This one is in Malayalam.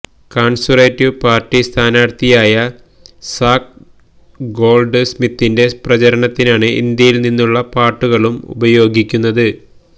കണ്സര്വേറ്റീവ് പാര്ട്ടി സ്ഥാനാര്ത്ഥിയായ സാക് ഗോള്ഡ് സ്മിത്തിന്റെ പ്രചാരണത്തിനാണ് ഇന്ത്യയില് നിന്നുള്ള പാട്ടുകളും ഉപയോഗിയ്ക്കുന്നത്